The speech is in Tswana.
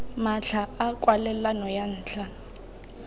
matlha a kwalelano ya ntlha